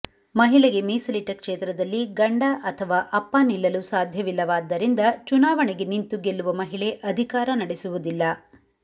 ಮಹಿಳೆಗೆ ಮೀಸಲಿಟ್ಟ ಕ್ಷೇತ್ರದಲ್ಲಿ ಗಂಡ ಅಥವಾ ಅಪ್ಪ ನಿಲ್ಲಲು ಸಾಧ್ಯವಿಲ್ಲವಾದ್ದರಿಂದ ಚುನಾವಣೆಗೆ ನಿಂತು ಗೆಲ್ಲುವ ಮಹಿಳೆ ಅಧಿಕಾರ ನಡೆಸುವುದಿಲ್ಲ